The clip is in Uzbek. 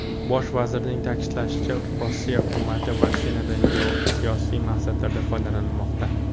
Bosh vazirning ta’kidlashicha, Rossiya hukumati vaksinadan geosiyosiy maqsadlarda foydalanmoqda.